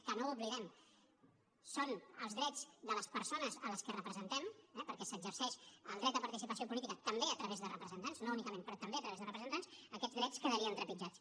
que no ho oblidem són els drets de les persones a les que representem eh perquè s’exerceix el dret de participació política també a través de representants no únicament però també a través de representants aquests drets quedarien trepitjats